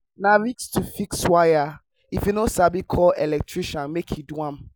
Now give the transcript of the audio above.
na risk to fix wire if you no sabi call electrician make e do am.